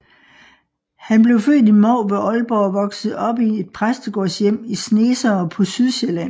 Han blev født i Mou ved Aalborg og voksede op i et præstegårdshjem i Snesere på Sydsjælland